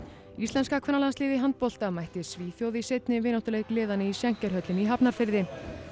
íslenska kvennalandsliðið í handbolta mætti Svíþjóð í seinni vináttuleik liðanna í Schenker höllinni í Hafnarfirði